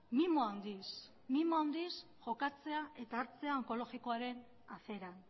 mimo handiz jokatzea eta hartzea onkologikoaren afera